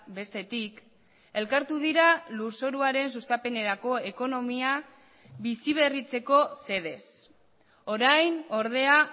bestetik elkartu dira lurzoruaren sustapenerako ekonomia bizi berritzeko xedez orain ordea